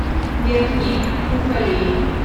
верхний уфалей